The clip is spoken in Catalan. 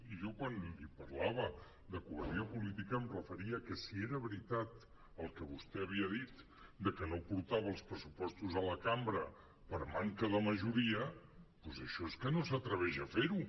i jo quan li parlava de covardia política em referia a que si era veritat el que vostè havia dit de que no portava els pressupostos a la cambra per manca de majoria doncs això és que no s’atreveix a fer ho